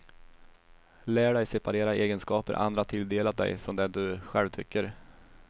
Lär dig separera egenskaper andra tilldelat dig från det du själv tycker.